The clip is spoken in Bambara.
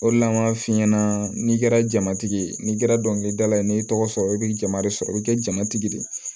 O de la an b'a f'i ɲɛna n'i kɛra jamatigi ye n'i kɛra dɔnkilidala ye n'i y'i tɔgɔ sɔrɔ i bi jama de sɔrɔ i bi kɛ jamatigi de ye